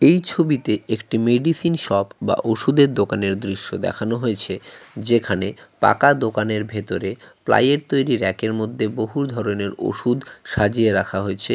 এই ছবিতে একটি মেডিসিন সপ বা ওষুধের দোকানের দৃশ্য দেখানো হয়েছে যেখানে পাকা দোকানের ভিতরে প্লাইয়ের তৈরি রেকার মধ্যে বহু ধরনের ওষুধ সাজিয়ে রাখা হয়েছে।